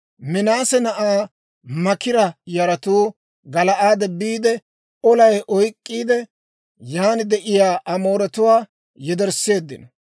Minaase na'aa Maakira yaratuu Gala'aade biide, olay oyk'k'iide, yan de'iyaa Amooretuwaa yedersseeddino.